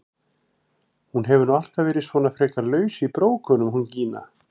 Hún hefur nú alltaf verið svona frekar laus í brókunum hún Gína!